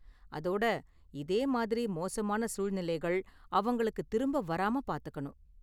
அதோட, இதே மாதிரி மோசமான சூழ்நிலைகள் அவங்களுக்கு திரும்ப வராம பாத்துக்கணும்.